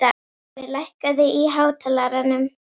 Búi, lækkaðu í hátalaranum.